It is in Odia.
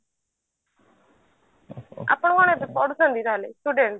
ଆପଣ କଣ ଏବେ ପଢୁଛନ୍ତି ତାହେଲେ student